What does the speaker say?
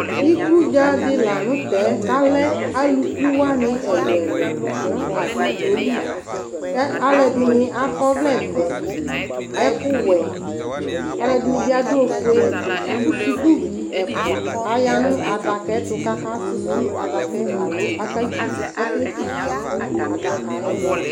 Ikʋdza di lanʋtɛ kʋ alɛ alʋkʋ wani ɛlʋ elʋ ɛlʋ nʋ agbadɔ li kʋ alʋɛdini akɔ ɔvlɛvɛ ɛkʋwɛ alʋɛdini bi adʋ ofue kʋ sʋkʋvi ɛfʋa ayanʋ adaka yɛtʋ kʋ akasʋsi adakaɛbalo ake tse ʋtsʋ kʋ adaka yɛ